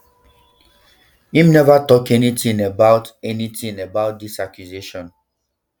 im neva tok anytin about anytin about dis accusation